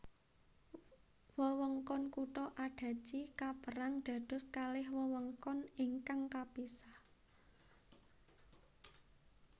Wewengkon kutha Adachi kapérang dados kalih wewengkon ingkang kapisah